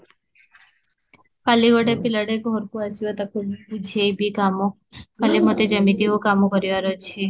କଲି ଗୋଟେ ପିଲାଟେ ଘରକୁ ଆସିବ ତାକୁ ବୁଝେଇବି କାମ, କାଲି ମତେ ଯେମିତିବି କାମ କରିବାର ଅଛି